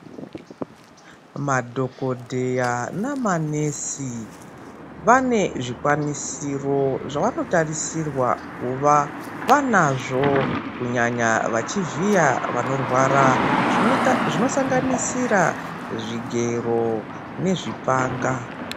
Madhokodheya na manesi vane zvikwanisiro zvavano tarisirwa kuva vanazvo kunyanya vachi vhiya vanorwara zvino sanganisira zvigero ne zvipanga.